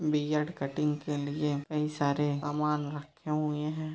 Beard cutting के लिए कई सारे सामान रखे हुए हैं ।